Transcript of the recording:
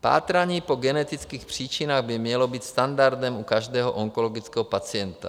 Pátrání po genetických příčinách by mělo být standardem u každého onkologického pacienta.